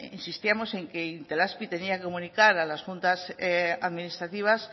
insistíamos en que itelazpi tenía que comunicar a las juntas administrativas